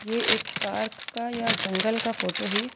ये एक पार्क का या जंगल का फोटो है।